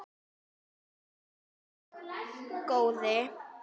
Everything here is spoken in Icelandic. Láttu ekki svona góði.